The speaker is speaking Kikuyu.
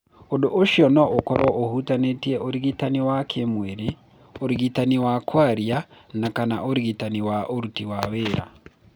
Ũndũ ũcio no ũkorũo ũhutĩtie ũrigitani wa kĩĩmwĩrĩ, ũrigitani wa kwaria na/kana ũrigitani wa ũruti wa wĩra.